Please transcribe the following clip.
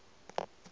a re o hlasetšwe ke